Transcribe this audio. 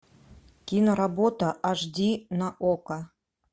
киноработа аш ди на окко